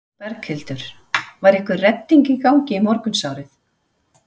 Berghildur: Var einhver redding í gangi í morgunsárið?